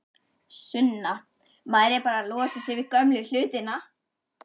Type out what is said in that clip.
Sunna: Maður er bara að losa sig við gömlu hlutina?